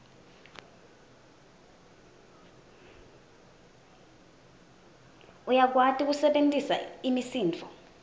uyakwati kusebentisa imisindvo